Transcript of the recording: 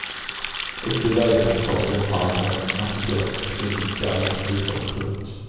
Uppe i lägenheten tas vi omhand av en entusiastisk kvinnlig guide som visar oss runt.